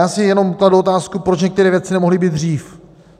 Já si jenom kladu otázku, proč některé věci nemohly být dřív.